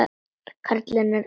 Karlinn er elliær.